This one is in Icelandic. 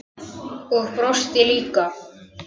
Og brosti líka.